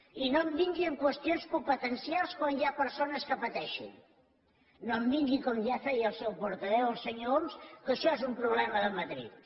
i no em vingui amb qüestions competencials quan hi ha persones que pateixen no em vingui com ja feia el seu portaveu el senyor homs que això és un problema de madrid